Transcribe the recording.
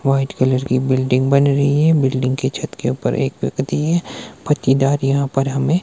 White colour की building बन रही है। बिल्डिंग के छत के ऊपर एक व्यक्ति है। पाटीदार यहां पर हमें--